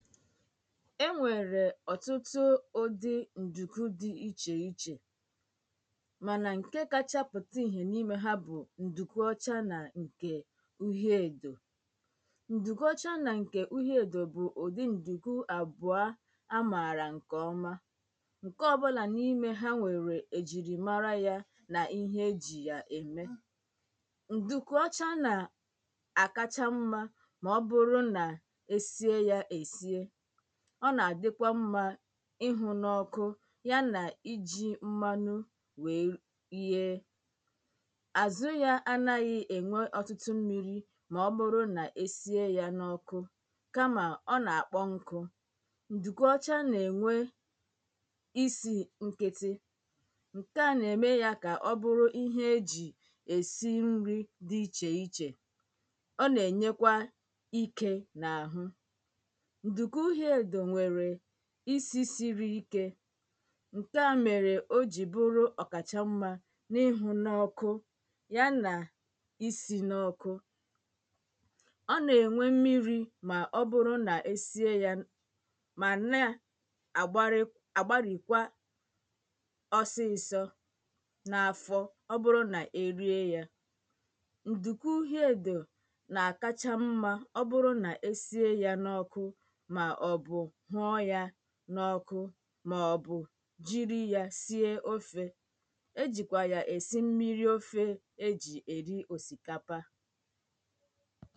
é nwèrè ọ̀tụ́tụ́ ụ́dị́ ǹdùkú dị́ íchè íchè mànà ṅ̀kè káchá pụtá ìhè n’ímē hā bụ̀ ǹdùkú ọ́chá nà ṅ̀kè úhié èdò ǹdùkú ọ́chá nà ṅ̀kè úhié èdò bụ̀ ụ̀dị́ ǹdùkú àbụá á mààrà ṅ̀kè ọ́má ṅ̀kè ọ́ bụ̄là n’ímē hā nwèrè èjìrìmárá yā nà íhé é jì yà èmé ǹdùkú ọ́chá nà àkáchá ḿmā mà ọ́ bụ́rụ́ nà é síé yā èsíé ọ́ nà àdị́kwá ḿmā ị́hụ̄ nɔ́:kʊ́ yá nà íjī ḿmánụ́ wèé ríé àzụ́ yā ánāghị̄ ènwé ọ̀tụ́tụ́ ḿmīrī mà ọ́ bụ́rụ́ nà é síé yā n’ọ́kụ́ kámà ọ́ nà-àkpọ́ ṅ́kụ̄ ǹdùkú ọ́chá nà-ènwé ísì ṅ́kị́tị́ ṅ̀ké à nà-èmé yā kà ọ́ bụ́rụ́ íhé é jì èsí ńrí dị̄ íchè íchè ọ́ nà-ènyékwá íkē n’àhụ́ ǹdùkú úhié èdò nwèrè ísì sírí íké ṅ̀ké à mèrè ó jì bụ́rụ́ ọ̀kàchà ḿmā n’ị́hụ̄ n’ọ́kụ́ yá nà yá nà ísī n’ọ́kụ́ ọ́ nà-ènwé ḿmírī mà ọ́ bụ́rụ́ nà é síé yā mà ná: àgbárị́ àgbárìkwá ọ́sị́sọ̄ n’áfọ́ ọ́ bụ́rụ́ nà é ríé yā ǹdùkú úhiē èdò nà-àkáchá ḿmā ọ́ bụ́rụ́ nà é síé yā n’ọ́kụ́ màọ̀bụ̀ hụ́ọ́ yā n’ọ́kụ́ màọ̀bụ̀ jírí yā síé ófē é jìkwà yà èsí ḿmírí ófē é jì èrí òsìkápá